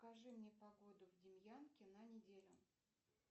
покажи мне погоду в демьянке на неделю